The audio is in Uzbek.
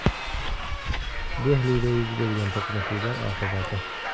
Dehlida yuz bergan to‘qnashuvlar oqibati.